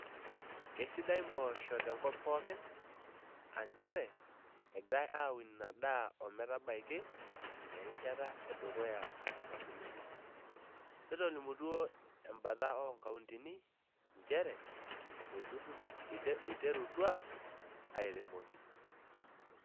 Keisidan mpoosho te nkop pookin aa nchere egirai aun ina daa o metabaiki erishata e dukuya nabulunyie , netolimutuo embata oo nkauntini nchere eiterutua airemoki.